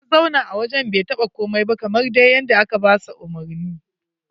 Ya zauna a wajen bai taɓa komai ba kamar dai yadda aka ba shi umarni.